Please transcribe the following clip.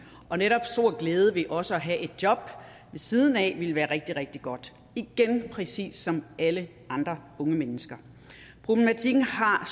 og netop stor glæde ved også at have et job ved siden af ville være rigtig rigtig godt igen præcis som alle andre unge mennesker problematikken har